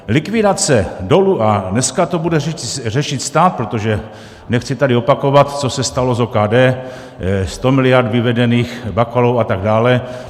Likvidace dolu - a dneska to bude řešit stát, protože nechci tady opakovat, co se stalo s OKD, 100 miliard vyvedených Bakalou a tak dále.